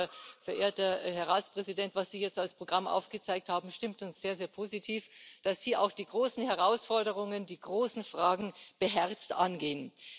Das, verehrter Herr Ratspräsident, was Sie jetzt als Programm aufgezeigt haben, stimmt uns sehr, sehr positiv, dass Sie auch die großen Herausforderungen, die großen Fragen beherzt angehen.